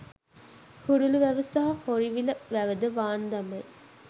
හුරුළු වැව සහ හොරිවිල වැව ද වාන් දමයි